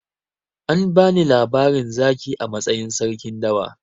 An bani labarin zaki a matsayin sarkin dawa.